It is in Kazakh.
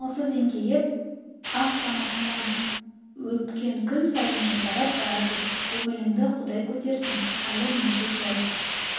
амалсыз еңкейіп ақ тамақтан өпкен күн сайын жасарып барасыз көңіліңді құдай көтерсін халі нешік жай